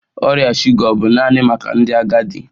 Ọrịa shuga ọ bụ naanị maka ndị agadi?